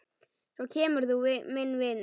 Svo kemur þú, minn vinur.